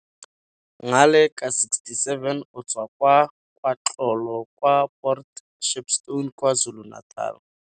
Ngaleka 67 o tswa kwa KwaXolo kwa Port Shepstone, KwaZulu-Natal.